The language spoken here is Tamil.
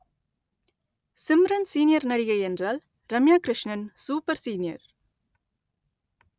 சிம்ரன் சீனியர் நடிகை என்றால் ரம்யா கிருஷ்ணன் சூப்பர் சீனியர்